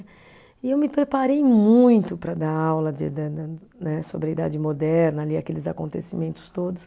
E eu me preparei muito para dar aula sobre de ida, né, sobre a Idade Moderna ali, aqueles acontecimentos todos.